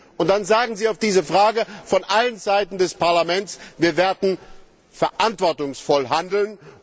Und dann entgegnen Sie auf diese Frage von allen Seiten des Parlaments Wir werden verantwortungsvoll handeln.